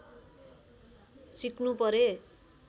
सिक्नु परे